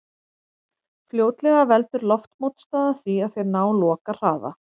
Fljótlega veldur loftmótstaða því að þeir ná lokahraða.